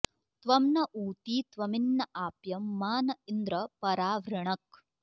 त्वं न॑ ऊ॒ती त्वमिन्न॒ आप्यं॒ मा न॑ इन्द्र॒ परा॑ वृणक्